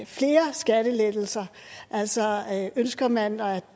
flere skattelettelser altså ønsker man at